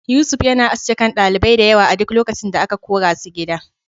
Yusuf yana aske kan ɗalibai diyawa a duk lokacin da aka korasu gida.